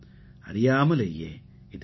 அறியாமலேயே இது நடக்கும்